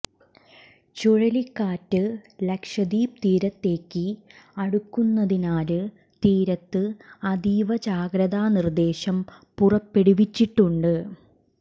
ചുഴലിക്കാറ്റ് ലക്ഷദ്വീപ് തീരത്തേക്ക് അടുക്കുന്നതിനാല് തീരത്ത് അതീവ ജാഗ്രതാ നിർദേശം പുറപ്പെടുവിച്ചിട്ടുണ്ട്